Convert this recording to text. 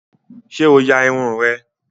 Sé o ya Irun rẹ?